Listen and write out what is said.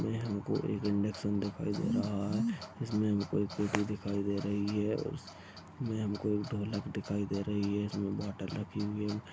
यह हमको एक इन्डक्शन दिखाई दे रहा है जिसमे हमको एक पेटी दिखाई दे रही है और उस मे हमको एक ढोलक दिखाई दे रही है इसमे बोटल रखी हुई है।